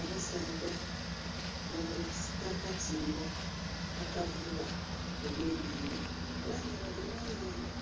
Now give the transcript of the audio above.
Abasaadha nga bali kusika akatimba akavuuba ebye nhandha era nga bali mu nhandha